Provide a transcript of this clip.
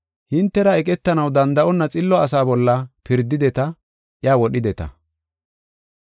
Hintera eqetanaw danda7onna xillo asa bolla pirdideta iya wodhideta.